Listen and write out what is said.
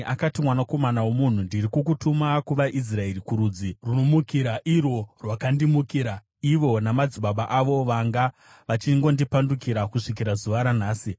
Akati, “Mwanakomana womunhu, ndiri kukutuma kuvaIsraeri, kurudzi runomukira irwo rwakandimukira; ivo namadzibaba avo vanga vachingondipandukira kusvikira zuva ranhasi.